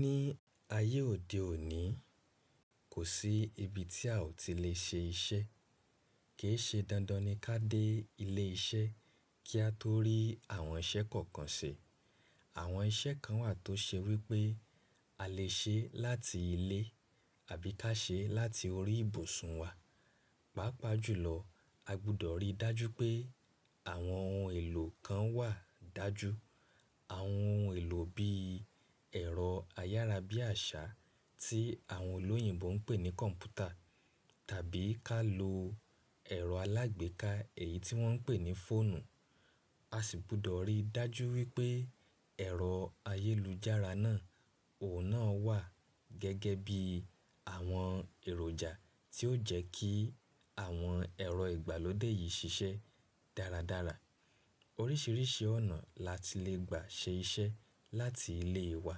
Ní ayé òde òní, kò sí ibi tí a ò tí lè ṣe iṣẹ́. Kì í ṣe dandan ni ká dé ilé iṣẹ́ kí a tó rí àwọn iṣẹ́ kọ̀ọ̀kan ṣe. Àwọn iṣẹ́ kan wà tó ṣe wí pé a lè ṣe láti ilé àbí ká ṣe láti orí ibùsùn wa. Pápàá jùlọ, a gbúdọ̀ rí dájú pé àwọn ohun èlò kan wà dájú. Àwọn ohun èlò bí ẹ̀rọ ayárabíàṣá tí àwọn olóyìnbo ń pè ní kọ̀ǹpútà tàbí ká lo ẹ̀rọ alágbèéká èyí tí wọ́n ń pè ní fóònù. A sì gbúdọ̀ rí dájú wípé ẹ̀rọ ayélujára náà oun náà wà gẹ́gẹ́ bí àwọn èròjà tí ó jẹ́ kí àwọn ẹ̀rọ ìgbàlódé yìí ṣiṣẹ́ dáradára. Oríṣiríṣi ọ̀nà la ti le gbà ṣe iṣẹ́ láti ilé wa.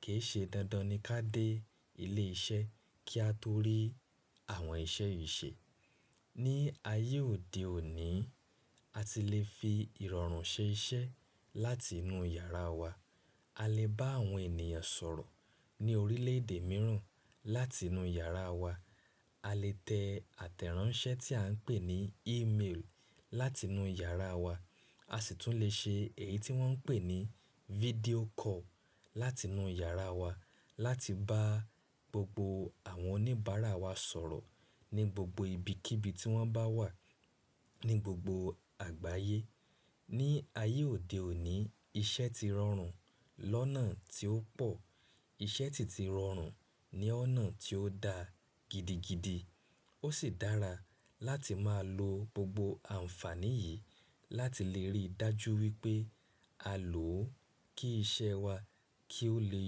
Kì í ṣe dandan ni ká dé ilé iṣẹ́ kí a tó rí àwọn iṣẹ́ yìí ṣe. Ní ayé òde òní, a ti lè fi ìrọ̀rùn ṣe iṣẹ́ láti inú yàrá wa. A lè bá àwọn ènìyàn sọ̀rọ̀ ní orílẹ̀èdè mìíràn láti inú yàrá wa. A lè tẹ àtẹ̀ránsẹ́ tí à ń pè ní ímeelì láti inú yàrá wa. A sì tún lè ṣe èyí tí wọ́n ń pè ní fídíò kọ́ọ̀lu láti inú yàrá wa láti bá gbogbo àwọn oníbàárà wa sọ̀rọ̀ ní gbogbo ibikíbi tí wọ́n bá wà ní gbogbo àgbáyé. Ní ayé òde òní, iṣẹ́ ti rọrùn lọ́nà tí ó pọ̀. Iṣẹ́ sìti rọrùn ní ọ̀nà tí ó da gidigidi. Ó sì dára láti máa lo gbogbo àǹfàní yìí láti lè rí dájú wípé a lò ó kí iṣẹ́ wa kí ó lè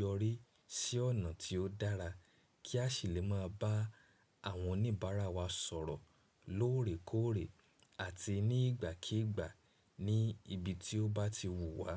yọrí sí ọ̀nà tí ó dára kí a sì lè máa bá àwọn oníbàárà wa sọ̀rọ̀ lóòrèkóòrè àti ní ìgbàkíígbà ní ibi tí ó bá ti wù wá.